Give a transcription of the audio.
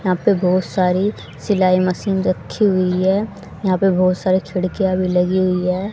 यहां पर बहोत सारी सिलाई मशीन रखी हुई है यहां पे बहोत सारे खिड़कियां भी लगी हुई है।